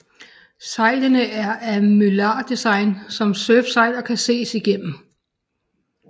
Sejlene er af mylar design som surfsejl og kan ses igennem